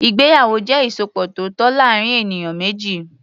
Ìgbéyàwó jẹ́ ìsopọ̀ tó tọ́ láàárín ènìyàn méjì.